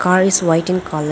car is white in colour.